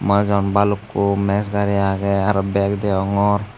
manuj agon balukko mes gari agey araw beg degongor.